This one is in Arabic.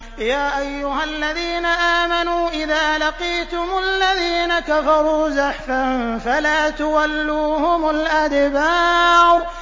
يَا أَيُّهَا الَّذِينَ آمَنُوا إِذَا لَقِيتُمُ الَّذِينَ كَفَرُوا زَحْفًا فَلَا تُوَلُّوهُمُ الْأَدْبَارَ